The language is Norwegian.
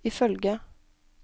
ifølge